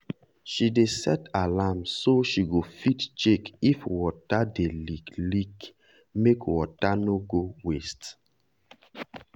she dey set alarm so she go fit check if water dey leak leak make water no go waste.